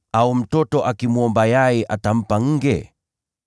Au mtoto akimwomba yai atampa nge?